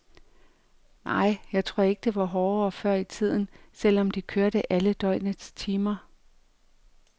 Nej, jeg tror ikke det var hårdere før i tiden, selv om de kørte alle døgnets timer.